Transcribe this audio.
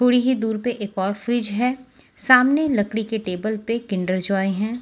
थोड़ी ही दूर पर एक और फ्रिज है सामने लकड़ी के टेबल पे किंडर जॉय हैं।